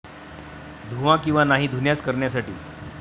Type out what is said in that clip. धुवा किंवा नाही धुण्यास करण्यासाठी